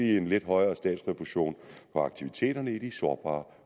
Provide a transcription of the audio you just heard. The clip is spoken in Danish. en lidt højere statsrefusion på aktiviteterne i de sårbare